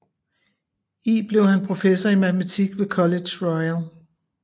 I blev han professor i matematik ved Collège Royal